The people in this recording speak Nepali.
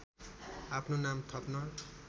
आफ्नो नाम थप्न